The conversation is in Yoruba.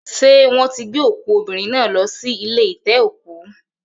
Ṣé wọ́n ti gbé òkú obìnrin náà lọ sí ilé ite-oku